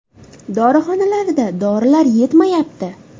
Dorixonalarda dorilar yetmayapti.